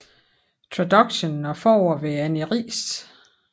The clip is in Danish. Traduction og forord ved Annie Riis